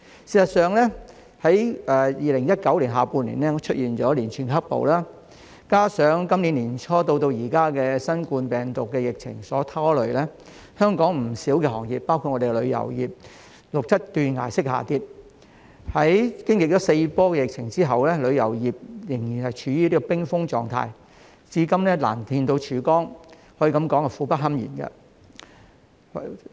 事實上，在2019年下半年出現連串"黑暴"，加上今年年初至今的新冠病毒疫情所拖累，香港不少行業，包括旅遊業，錄得斷崖式下跌，在經歷四波的疫情後，旅遊業仍然處於冰封狀態，至今難見曙光，可以說是苦不堪言。